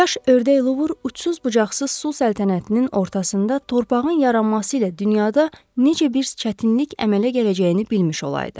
Kaş ördək Luvr ucsuz-bucaqsız su səltənətinin ortasında torpağın yaranması ilə dünyada necə bir çətinlik əmələ gələcəyini bilmiş olaydı.